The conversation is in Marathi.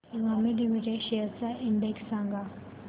इमामी लिमिटेड शेअर्स चा इंडेक्स सांगा